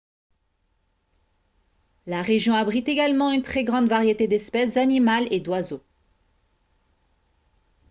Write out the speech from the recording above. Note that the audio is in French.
la région abrite également une très grande variété d'espèces animales et d'oiseaux